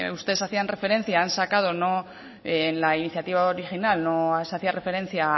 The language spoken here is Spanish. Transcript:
ustedes hacían referencia en la iniciativa original no se hacía referencia